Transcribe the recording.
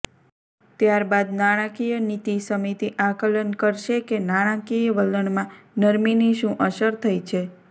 ત્યારબાદ નાણાકીય નીતિ સમિતિ આકલન કરશે કે નાણાકીય વલણમાં નરમીની શુ અસર થઇ છે